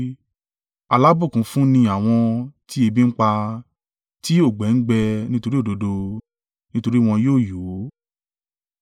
Alábùkún fún ni àwọn tí ebi ń pa tí òǹgbẹ ń gbẹ́ nítorí òdodo, nítorí wọn yóò yó.